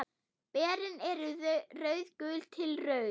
Berin eru rauðgul til rauð.